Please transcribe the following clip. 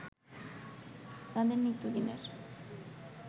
তাদের নিত্যদিনের